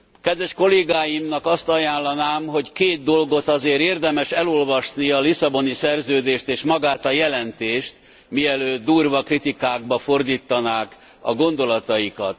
Kedves kollégáimnak azt ajánlanám, hogy két dolgot azért érdemes elolvasni a Lisszaboni Szerződést és magát a jelentést, mielőtt durva kritikákba fordítanák a gondolataikat.